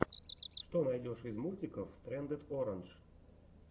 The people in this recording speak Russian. что найдешь из мультиков стрэндед орандж